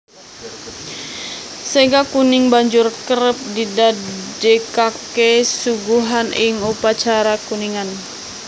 Sega kuning banjur kerep didadèkaké suguhan ing upacara kuningan